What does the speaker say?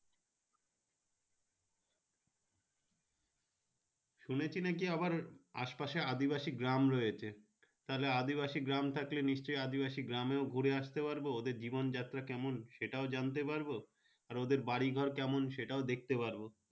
শুনেছি নাকি আসে পাশে নাকি আদিবাসী গ্রাম রয়েছে ওখানে তাহলে আদিবাসী গ্রাম থাকলে নিশ্চয় আদিবাসী গ্রামে ঘুরে আস্তে পারবো ওদের জীবন যাত্ৰা কেমন ওটাও জানতে পারবো আর ওদের বাড়ি ঘর কেমন ওটাও দেখতে পারবো।